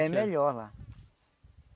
É melhor lá.